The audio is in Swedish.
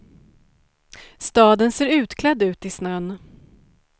Staden ser utklädd ut i snön.